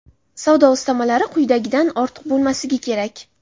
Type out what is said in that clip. savdo ustamalari quyidagidan ortiq bo‘lmasligi kerak:.